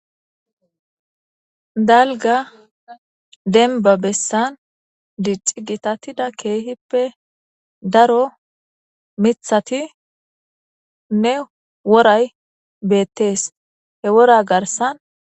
Dalga denba bessan dicci gitatida keehippe daro mithati nne woray beettees he wora garsan.